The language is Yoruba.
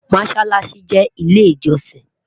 mosálási jé ilé ijosin